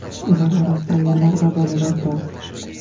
Ular orasida ayollar va bolalar bor.